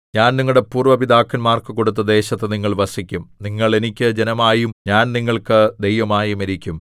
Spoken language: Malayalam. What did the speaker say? ഞാൻ നിങ്ങളുടെ പൂര്‍വ്വ പിതാക്കന്മാർക്കു കൊടുത്ത ദേശത്ത് നിങ്ങൾ വസിക്കും നിങ്ങൾ എനിക്ക് ജനമായും ഞാൻ നിങ്ങൾക്ക് ദൈവമായും ഇരിക്കും